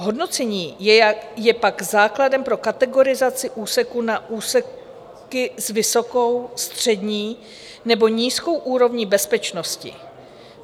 Hodnocení je pak základem pro kategorizaci úseků na úseky s vysokou, střední nebo nízkou úrovní bezpečnosti.